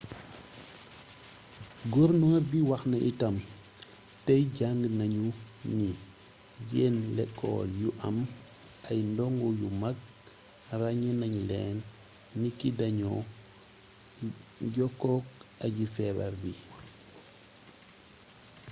gornoor bi wax na itam tey jàng nañu ni yenn lekool yu am ay ndongo yu mag ràññee nañ leen niki dañoo jokkook aji feebar bi